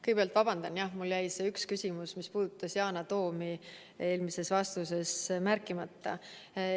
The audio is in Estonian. Kõigepealt vabandan, mul jäi see üks küsimus, mis puudutas Yana Toomi, eelmises vastuses märkimata.